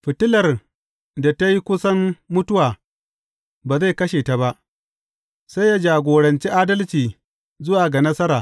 Fitilar da ta yi kusan mutuwa ba zai kashe ta ba, sai ya jagoranci adalci zuwa ga nasara.